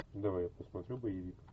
давай я посмотрю боевик